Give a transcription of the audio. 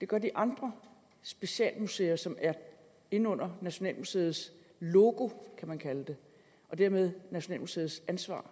gør de andre specielle museer som er inde under nationalmuseets logo kan man kalde det og dermed nationalmuseets ansvar